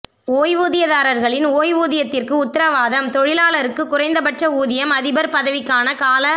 ஓய்வூதியதாரர்களின் ஓய்வூதியத்திற்கு உத்தரவாதம் தொழிலாளருக்கு குறைந்தபட்ச ஊதியம் அதிபர் பதவிக்கான கால